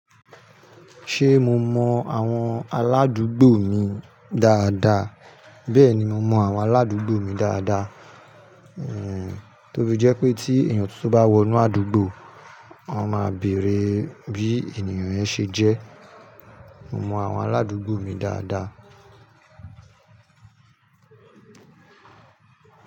Ṣé mo mọ àwọn aládùúgbò mi dáadáa? Bẹ́ẹ̀ni mo mọ àwọn aládùúgbò mi dáadáa. Ehn, tofí jẹ́ pé tí ènìyàn tuntun bá wọ inú àdúgbò, wọ́n máa bèrè bí ènìyàn yẹn ṣe jẹ́. Mo mọ àwọn aládùúgbò mi dáadáa.